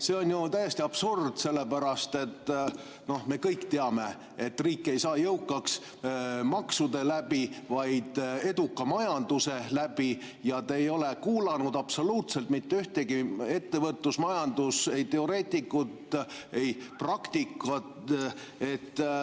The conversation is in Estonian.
See on ju täiesti absurd, sellepärast et me kõik teame, et riik ei saa jõukaks maksude kaudu, vaid eduka majanduse kaudu, ja te ei ole kuulanud absoluutselt mitte ühtegi ettevõtlus- ega majandusteoreetikut, ei -praktikut.